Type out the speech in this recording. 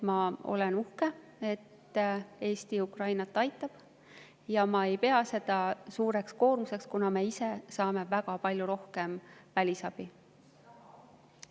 Ma olen uhke, et Eesti Ukrainat aitab, ja ma ei pea seda suureks koormuseks, kuna me ise saame väga palju rohkem välisabi.